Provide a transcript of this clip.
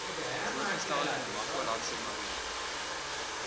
voorgestelde namakwalandse mariene